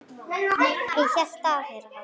Ég hélt að yðar hátign.